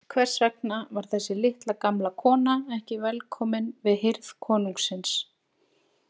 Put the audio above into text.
Hvers vegna var þessi litla, gamla kona ekki velkomin við hirð konungsins?